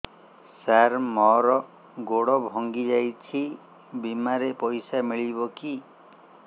ସାର ମର ଗୋଡ ଭଙ୍ଗି ଯାଇ ଛି ବିମାରେ ପଇସା ମିଳିବ କି